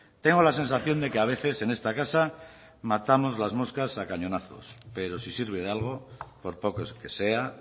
tengo la sensación de que a veces en esta casa matamos las moscas a cañonazos pero si sirve de algo por poco que sea